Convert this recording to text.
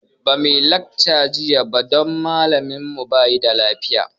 Ba muyi lacca jiya ba don malamin mu ba lafiya